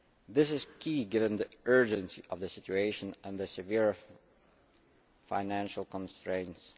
This is key, given the urgency of the situation and the severe financial constraints.